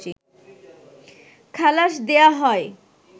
খালাস দেয়া হয়